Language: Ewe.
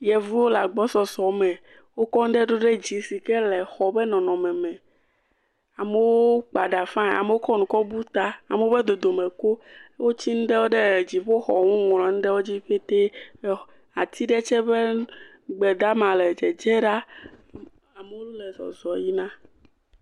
Yevuwo le agbosɔsɔ me, wokɔ nuɖe do ɖe dzi si ke xɔ ƒe nɔnɔme, amewo kpa ɖa fain, amewo kɔ nu bu ta, amewo be dodome klo, wotsi nu ɖewo ɖe dziƒoxɔ ŋu ŋlɔ nu ɖe wo ŋu petee, ati ɖe tsɛ ƒe gbe dama le dzedze ɖa.